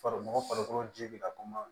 Farikolo farikolo ji be na kuma